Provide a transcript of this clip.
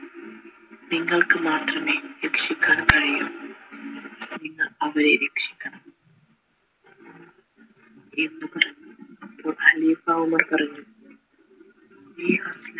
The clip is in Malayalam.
നിങ്ങൾക്ക് മാത്രമേ രക്ഷിക്കാൻ കഴിയു നിങ്ങൾ അവരെ രക്ഷിക്കണം എന്ന് ഖലീഫ ഉമർ